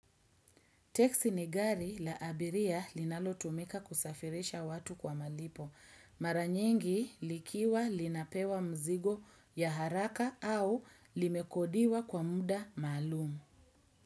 Teksi ni gari la abiria linalotumika kusafirisha watu kwa malipo. Mara nyingi likiwa linapewa mzigo ya haraka au limekodiwa kwa muda malumu.